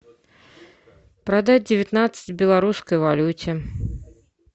продать девятнадцать в белорусской валюте